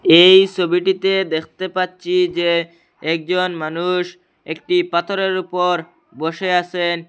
এই সোবিটিতে দ্যাখতে পাচ্চি যে একজন মানুষ একটি পাথরের উপর বসে আসেন।